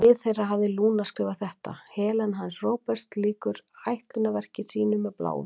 Við hlið þeirra hafði Lúna skrifað þetta: Helena hans Róberts lýkur ætlunarverki sínu með Bláum.